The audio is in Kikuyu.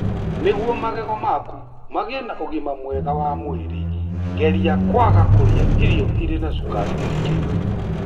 Nĩguo magego maku magĩe na ũgima mwega wa mwĩrĩ, geria kwaga kũrĩa irio irĩ na cukari mũingĩ.